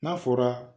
N'a fɔra